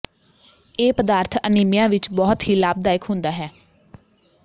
ਇਹ ਪਦਾਰਥ ਅਨੀਮੀਆ ਵਿੱਚ ਬਹੁਤ ਹੀ ਲਾਭਦਾਇਕ ਹੁੰਦਾ ਹੈ